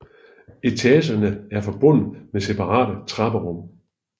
Etagerne er forbundet med separate trapperum